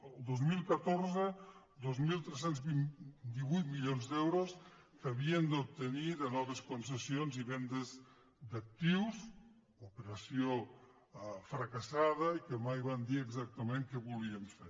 el dos mil catorze dos mil tres cents i divuit milions d’euros que havien d’obtenir de noves concessions i vendes d’actius operació fracassada i que mai van dir exactament què volien fer